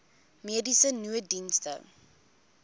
mediese nooddienste